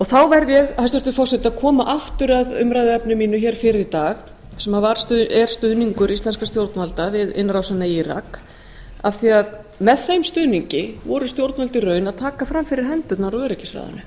þá verð ég hæstvirtur forseti að koma aftur að umræðuefni mínu hér fyrr í dag sem er stuðningur íslenskra stjórnvalda við innrásina í írak af því að með þeim stuðningi voru stjórnvöld í raun að taka fram fyrir hendurnar á öryggisráðinu